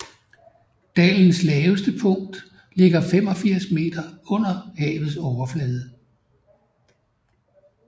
Dalens laveste punkt ligger 86 m under havets overflade